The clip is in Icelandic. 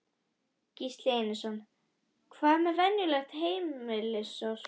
Gísli Einarsson: Hvað með venjulegt heimilissorp?